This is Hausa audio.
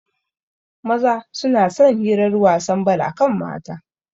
Maza suna son hirar wasan bal akan mata